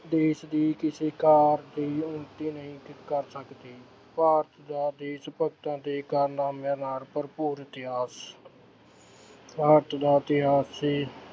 ਦੇਸ਼ ਦੀ ਕਿਸੇ ਉੱਨਤੀ ਨਹੀਂ ਕ ਅਹ ਕਰ ਸਕਦੀ, ਭਾਰਤ ਦਾ ਦੇਸ਼ ਭਗਤਾਂ ਦੇ ਕਾਰਨਾਮਿਆਂ ਨਾਲ ਭਰਪੂਰ ਇਤਿਹਾਸ ਭਾਰਤ ਦਾ ਇਤਿਹਾਸ